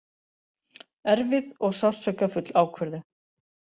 Erfið og sársaukafull ákvörðun